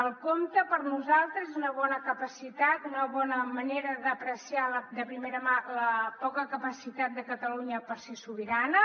el compte per nosaltres és una bona capacitat una bona manera d’apreciar de primera mà la poca capacitat de catalunya per ser sobirana